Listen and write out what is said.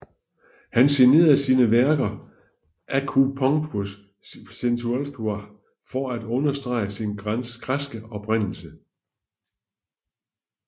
Han signerede sine værker Δομήνικος Θεοτοκόπουλος for at understrege sin græske oprindelse